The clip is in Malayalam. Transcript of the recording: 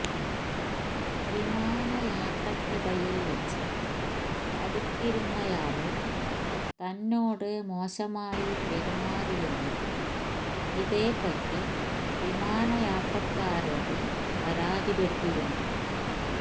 വിമാനയാത്രക്കിടയില് വച്ച് അടുത്തിരുന്നയാള് തന്നോട് മോശമായി പെരുമാറിയെന്നും ഇതേപറ്റി വിമാനയാത്രക്കാരോട് പരാതിപ്പെട്ടിരുന്നു